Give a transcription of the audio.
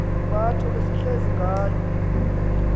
nempatho esihleli ngayo